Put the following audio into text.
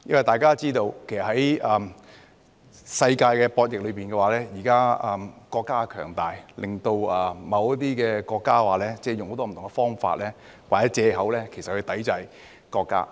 大家也知道，在世界的博弈裏，現時國家強大，令某些國家用很多不同的方法或藉口抵制國家。